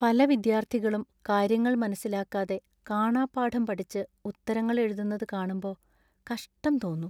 പല വിദ്യാർത്ഥികളും കാര്യങ്ങൾ മനസ്സിലാക്കാതെ കാണാപ്പാഠം പഠിച്ച് ഉത്തരങ്ങൾ എഴുതുന്നത് കാണുമ്പോ കഷ്ടം തോന്നും .